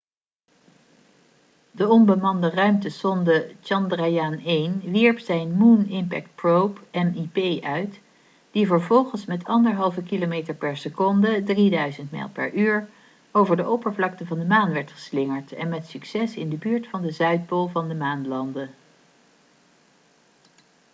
de onbemande ruimtesonde chandrayaan-1 wierp zijn moon impact probe mip uit die vervolgens met 1,5 kilometer per seconde 3000 mijl per uur over de oppervlakte van de maan werd geslingerd en met succes in de buurt van de zuidpool van de maan landde